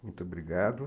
Muito obrigado.